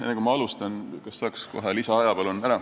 Enne kui ma alustan, kas saaks kohe lisaaega?